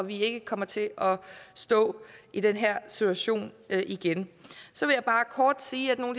vi ikke kommer til at stå i den her situation igen så vil jeg bare kort sige at nogle